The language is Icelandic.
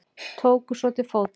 Tóku svo til fótanna.